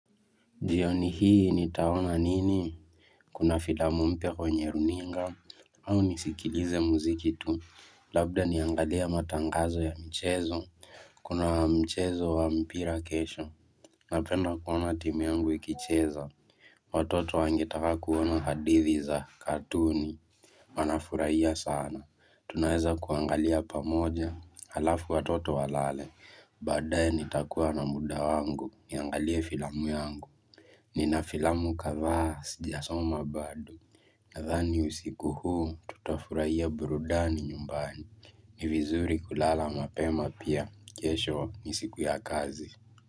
Jioni hii nitaona nini, kuna filamu mpya kwenye runinga, au nisikilize muziki tu, labda niangalie matangazo ya mchezo, kuna mchezo wa mpira kesho, napenda kuona timu yangu ikicheza, watoto wangetaka kuona hadithi za katuni, wanafurahia sana, tunaweza kuangalia pamoja, alafu watoto walale, badaye nitakuwa na muda wangu, niangalia filamu yangu. Nina filamu kadhaa sijasoma bado Nadhani usiku huu tutafurahia burudani nyumbani ni vizuri kulala mapema pia kesho ni siku ya kazi.